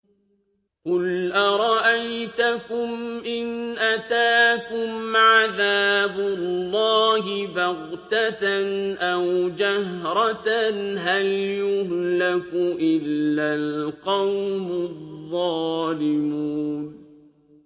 قُلْ أَرَأَيْتَكُمْ إِنْ أَتَاكُمْ عَذَابُ اللَّهِ بَغْتَةً أَوْ جَهْرَةً هَلْ يُهْلَكُ إِلَّا الْقَوْمُ الظَّالِمُونَ